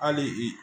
Hali i